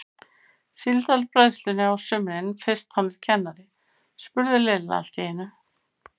Síldarbræðslunni á sumrin fyrst hann er kennari? spurði Lilla allt í einu.